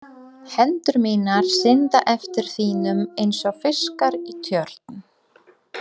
Hendur mínar synda eftir þínum einsog fiskar í tjörn.